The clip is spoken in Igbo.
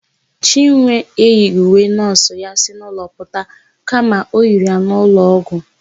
Chinwe eyighị uwe nọọsụ ya si n'ụlọ pụta kama o yiri ya n'ụlọọgwụ.